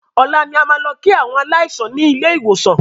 Ọ̀la ni a máa lọ kí àwọn aláìsàn ni ilé ìwòsàn